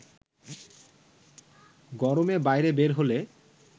গরমে বাইরে বের হলে